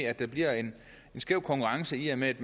at der bliver en skæv konkurrence i og med at